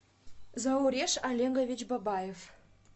зауреш олегович бабаев